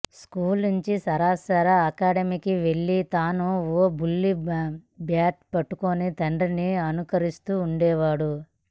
school నుంచీ సరాసరి అకాడెమీకి వెళ్లి తానూ ఓ బుల్లి బ్యాట్ పట్టుకుని తండ్రిని అనుకరిస్తూ ఉండేవాడు